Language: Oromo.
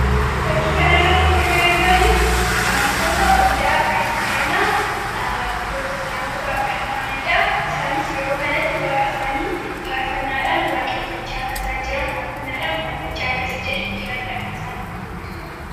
Fakkii kanarratti kan nuti arginu, amantoota Waldaa Kiristaanaa Pirootestaantii ta'aniidha. Isaanis yeroo kanatti Waaqa isaanii faarfannaadhaan waaqeffachaa akka jiran kan agarsiisuudha.